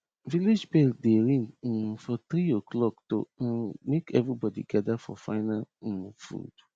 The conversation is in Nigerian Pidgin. village bell dey ring um for three oclock to um make evrybody gather for final um food